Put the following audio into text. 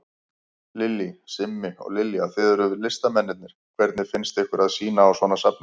Lillý: Simmi og Lilja, þið eruð listamennirnir, hvernig finnst ykkur að sýna á svona safni?